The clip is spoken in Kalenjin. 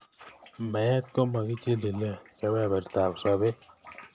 Meet komakichilile, kebebertab sobeet.